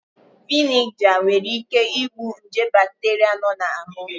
Veniga nwere ị́ké ị́gbù nje bakteria nọ n'anụ.